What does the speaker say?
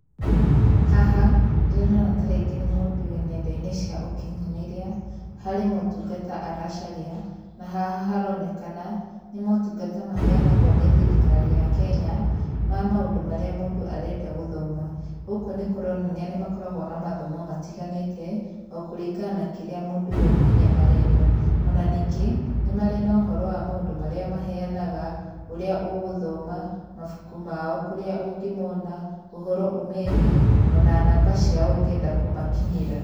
Haha ndĩrona tarĩngĩ nĩ mũndũ wĩ nenda-inĩ cia ũkinyanĩria harĩ motungata aracaria na haha haronekana nĩ motungata maheanagwo nĩ thirikari ya Kenya, ma maũndũ mũndũ arenda gũthoma. Gũkũ nĩ kũronania nĩ makoragwo na mathomo matiganĩte o kũringana na kĩrĩa mũndũ we mwenye arenda. Ona ningĩ nĩ marĩ no ũhoro wa maũndũ marĩa maheanaga ũrĩa ũgũthoma, mabuku mao ũrĩa ũngĩmona, ũhoro ũmegiĩ ona namba ciao ũngĩenda kũmakinyĩra.